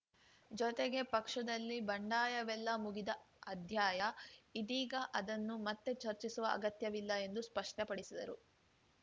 ಜೊತೆಗೆ ಪಕ್ಷದಲ್ಲಿ ಬಂಡಾಯವೆಲ್ಲ ಮುಗಿದ ಅಧ್ಯಾಯ ಇದೀಗ ಅದನ್ನು ಮತ್ತೆ ಚರ್ಚಿಸುವ ಅಗತ್ಯವಿಲ್ಲ ಎಂದು ಸ್ಪಷ್ಟಪಡಿಸಿದರು